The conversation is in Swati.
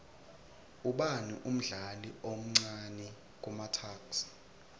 ubani umdlali omcani kumatuks